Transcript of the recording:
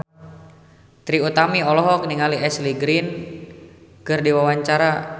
Trie Utami olohok ningali Ashley Greene keur diwawancara